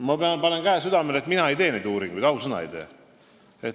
Ma panen käe südamele ja ütlen, et mina ei tee neid uuringuid, ausõna ei tee.